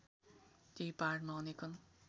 त्यही पहाडमा अनेकन